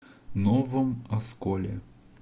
новом осколе